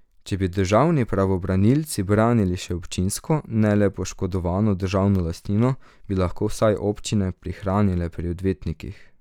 Če bi državni pravobranilci branili še občinsko, ne le poškodovano državno lastnino, bi lahko vsaj občine, prihranile pri odvetnikih.